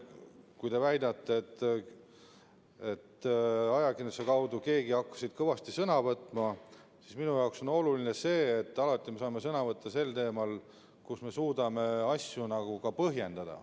Kui te väidate, et kevadel hakkas keegi ajakirjanduse kaudu kõvasti sõna võtma, siis minu jaoks on oluline see, et me võtaksime sõna alati teemadel, kus me suudame asju ka põhjendada.